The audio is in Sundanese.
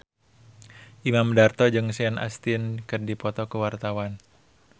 Imam Darto jeung Sean Astin keur dipoto ku wartawan